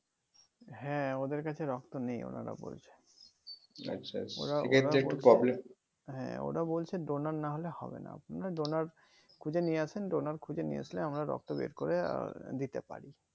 হ্যাঁ ওদের কাছে রক্ত নেই ওনারা বলছে হ্যাঁ ওরা বলছে donor নাহোলে হবেনা আপনারা donor খুঁজে নিয়ে আসেন donor খুঁজে নিয়ে আসলে আমরা রক্ত বের করে আহ দিতে পারি